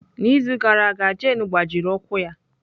N'izu gara aga Jane gbajiri ụkwụ ya.